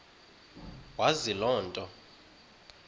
wazi loo nto